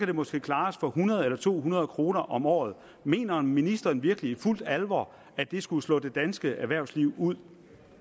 det måske klares for hundrede eller to hundrede kroner om året mener ministeren virkelig i fuld alvor at det skulle slå det danske erhvervsliv ud